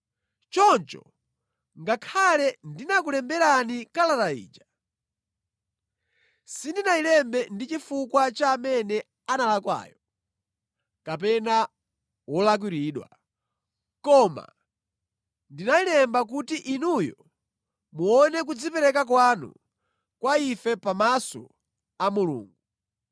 Choncho ngakhale ndinakulemberani kalata ija, sindinayilembe ndi chifukwa cha amene analakwayo kapena wolakwiridwa, koma ndinayilemba kuti inuyo muone kudzipereka kwanu kwa ife pamaso a Mulungu.